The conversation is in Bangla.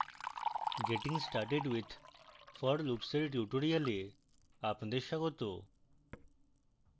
getting started with for loops এর tutorial আপনাদের স্বাগত